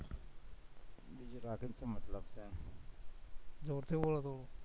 શું મતલબ છે